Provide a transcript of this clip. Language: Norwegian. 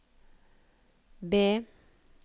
B